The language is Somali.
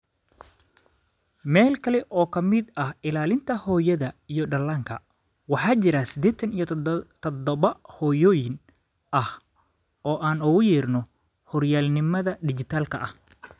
Meel kale oo ka mid ah ilaalinta hooyada iyo dhallaanka, waxaa jira sidetaan iyo todoba hooyooyin ah oo aan ugu yeerno horyaalnimada dhijitaalka ah.